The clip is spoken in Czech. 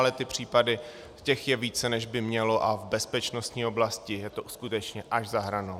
Ale ty případy, těch je více, než by mělo, a v bezpečnostní oblasti je to skutečně až za hranou.